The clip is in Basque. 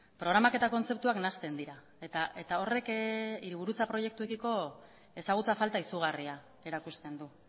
programak eta kontzeptuak nahasten dira eta horrek hiriburutza proiektuekiko ezagutza falta izugarria erakusten du